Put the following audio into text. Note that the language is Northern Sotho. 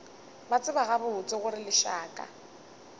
ba tseba gabotse gore lešaka